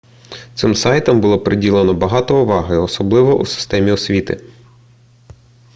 цим сайтам було приділено багато уваги особливо у системі освіти